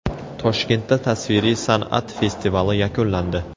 Toshkentda tasviriy san’at festivali yakunlandi.